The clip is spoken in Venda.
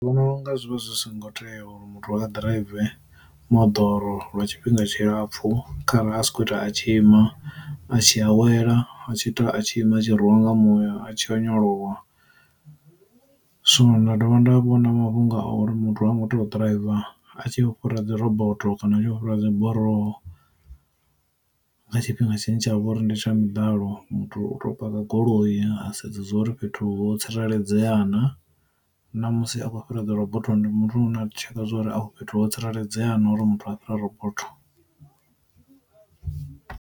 Vhono unga zwivha zwi songo tea uri muthu a ḓiraive moḓoro lwa tshifhinga tshilapfhu kharali a si khou ita a tshi ima a tshi awela a tshi ita a tshi ima a tshi rwiwa nga muya a tshi onyolowa. Zwino nda dovha nda vhona mafhungo a uri muthu wa muthu ḓiraiva a tshi khou fhira dzi rabotho kana a tshi fhira dzi buroho, nga tshifhinga tshine tshavha uri ndi tsha miḓalo muthu u tea u paka ku goloi a sedza uri fhethu ho tsireledzea na, na musi a khou fhira dzi robotho ndi muthu ane na tsheka zwori afho fhethu ho tsireledzea na uri muthu a fhire robotho.